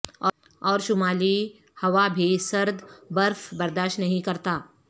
اور شمالی ہوا بھی سرد برف برداشت نہیں کرتا